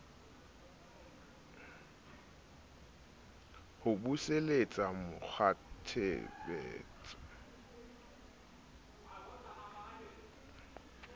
ho buseletsa mo kgwatshebetso wa